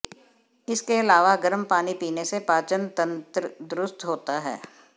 इसके अलावा गर्म पानी पीने से पाचन तंत्र दुरुस्त होता है